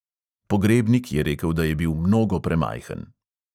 Pogrebnik je rekel, da je bil mnogo premajhen.